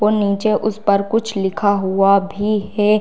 और नीचे उस पर कुछ लिखा हुआ भी है।